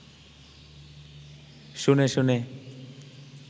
শুনে শুনে